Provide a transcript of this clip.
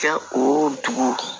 Kɛ o dugu